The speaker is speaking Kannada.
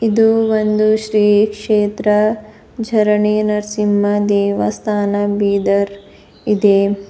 ಇದು ಒಂದು ಶ್ರೀ ಕ್ಷೇತ್ರ ಝರಣಿ ನರಸಿಂಹ ದೇವಸ್ಥಾನ ಬೀದರ್ ಇದೆ.